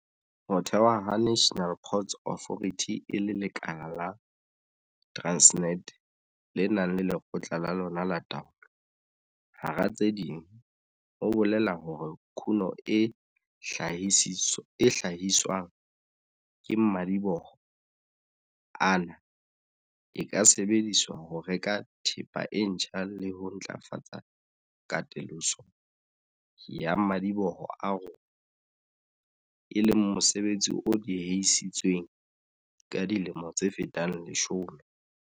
Ho thewa ha National Ports Authority e le lekala la Transnet le nang le lekgotla la lona la taolo, hara tse ding, ho bolela hore kuno e hla-hiswang ke madiboho ana e ka sebedisetswa ho reka thepa e ntjha le ho ntlafatsa katoloso ya madiboho a rona, e leng mosebetsi o diehisitsweng ka dilemo tse fetang leshome.